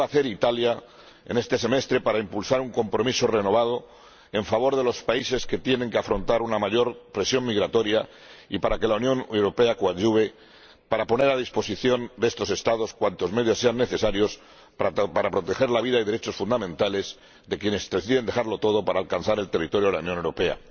¿Qué va a hacer Italia en este semestre para impulsar un compromiso renovado en favor de los países que tienen que afrontar una mayor presión migratoria y para que la Unión Europea coadyuve a poner a disposición de estos Estados cuantos medios sean necesarios para proteger la vida y los derechos fundamentales de quienes deciden dejarlo todo para alcanzar el territorio de la Unión Europea?